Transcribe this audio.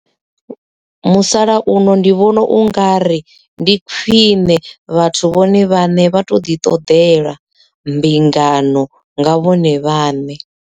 Musalauno ndi vhona ungari ndi khwiṋe vhathu vhone vhaṋe vha to ḓi ṱoḓela mbingano nga vhone vhaṋe.